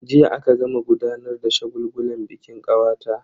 Jiya aka gama gudanar da shagulgulan bikin kawata.